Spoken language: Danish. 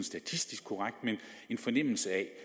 statistisk korrekt men en fornemmelse